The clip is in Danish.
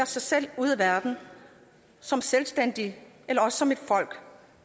sig selv ude i verden som selvstændige eller også som et folk